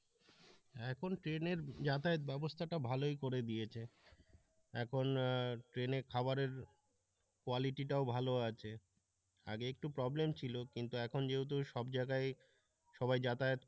এখন ট্রেনের যাতাযাত ব্যবস্থাটা ভালোই করে দিয়েছে এখন ট্রেনে খাবারের quality টাও ভালো আছে আগে একটু প্রবলেম ছিল কিন্তু এখন যেহেতু সব জায়গায় সবাই যাতায়াত,